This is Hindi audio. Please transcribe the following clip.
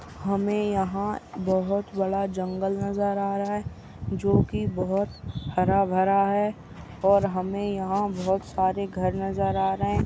हमे यहा बोहोत बड़ा जंगल नजर आ रहा है। जो की बोहोत हरा भरा है। और हमे यहा बोहोत सारे घर नजर आ रहे है।